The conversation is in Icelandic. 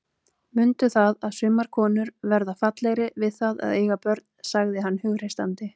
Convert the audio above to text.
Mundu það að sumar konur verða fallegri við það að eiga börn, sagði hann hughreystandi.